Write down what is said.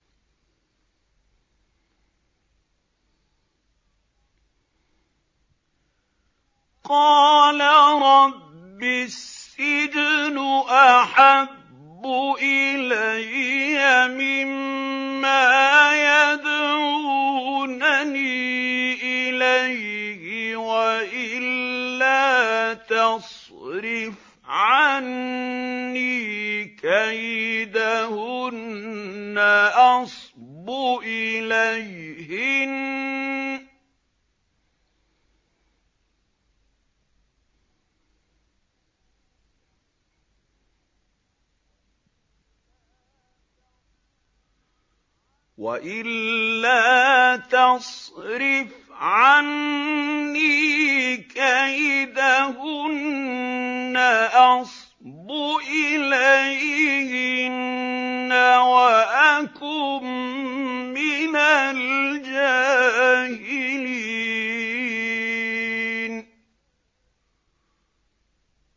قَالَ رَبِّ السِّجْنُ أَحَبُّ إِلَيَّ مِمَّا يَدْعُونَنِي إِلَيْهِ ۖ وَإِلَّا تَصْرِفْ عَنِّي كَيْدَهُنَّ أَصْبُ إِلَيْهِنَّ وَأَكُن مِّنَ الْجَاهِلِينَ